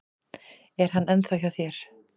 Er hann ennþá hjá þér?